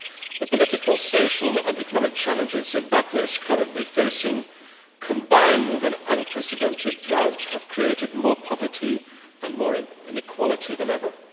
The political, social and economic challenges Zimbabwe is currently facing combined with an unprecedented drought have created more poverty and more inequality than ever.